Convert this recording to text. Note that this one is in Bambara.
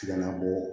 Tiŋala bɔ